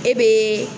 E be